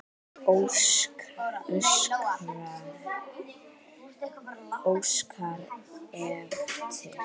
Óskari eftir.